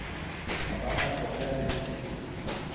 a ba a fola le